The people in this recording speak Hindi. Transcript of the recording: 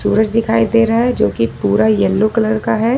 सूरज दिखाई दे रहा है जो कि पूरा येलो कलर का है।